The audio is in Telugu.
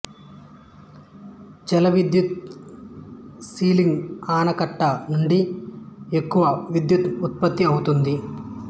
జలవిద్యుత్ సెలింగు ఆనకట్ట నుండి ఎక్కువ విద్యుత్ ఉత్పత్తి అవుతుంది